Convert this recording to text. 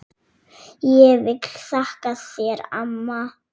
Ég vil þakka þér amma.